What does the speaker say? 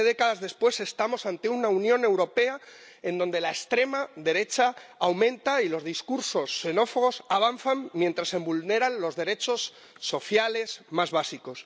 Siete décadas después estamos ante una Unión Europea en donde la extrema derecha aumenta y los discursos xenófobos avanzan, mientras se vulneran los derechos sociales más básicos.